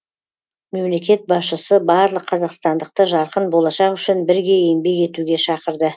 мемлекет басшысы барлық қазақстандықты жарқын болашақ үшін бірге еңбек етуге шақырды